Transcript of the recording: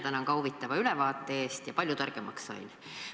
Ka mina tänan huvitava ülevaate eest, sain palju targemaks!